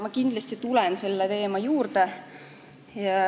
Ma kindlasti tulen selle teema juurde.